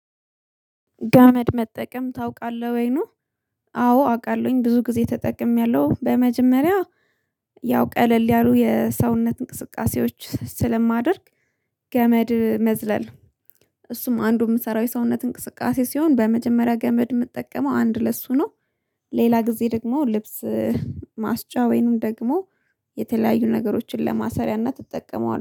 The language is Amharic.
ገመድ መጠቀም ታውቃለህ ወይ? አዎ አውቃለሁኝ፣ ብዙ ጊዜ ተጠቅሜያለሁ። በመጀመሪያ ያው ቀለል ያሉ የሰውነት እንቅስቃሴዎች ስለማደርግ፣ ገመድ መዝለል አንዱ የምሰራው የሰውነት እንቅስቃሴ ነው። በመጀመሪያ ገመድ የምጠቀመው አንደኛ ለሱ ሲሆን፤ ሌላ ጊዜ ደግሞ ለልብስ ማስጫ ወይም የተለያዩ ነገሮችን ለማሰሪያ እጠቀመዋለሁ።